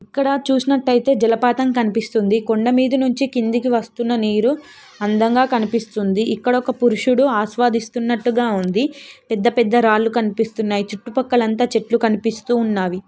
ఇక్కడ చూసినట్టు ఐతే జలపాతమం కనిపిస్తుంది కొండా మీద నుండి కిందకి వస్తున్న నీరు అందంగా కనిపిస్తుంది ఇక్కడ ఒక పురుషుడు ఆశ్వాదిస్తునట్టుగ ఉంది పెద్ద పెద్ద రాలు కనిపిస్తున్నాయి చుట్టుపక్కల అంత చెట్టులు కనిపిస్తూనవి.